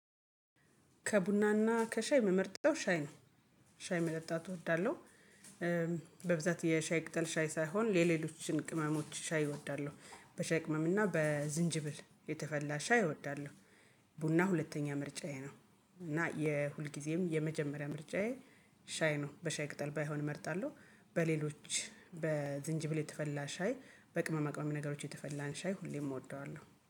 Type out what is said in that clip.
ከብናና ከሻይ እምመርጠው ሻይ ነው ሻይመጠጣት እወዳለሁ። በብዛት የሻይቅጠል ሻይሳይሆን የሌሎችን የሻይ አይነቶች እወዳለሁ። ቡና ሁለተኛ ምርጫዬ ነው። እና የሁልጊዜም የመጀመሪያ ምርጫዬ ሻይ ነው። በሻይ ቅጠል ባይሆን እመርጣለሁ በሌሎች በዝንጅብል የተፈላ ሻይ በቅመማ ቅመም ነገሮች የተፈላን ሻይ ሁሌም እወደዋለሁ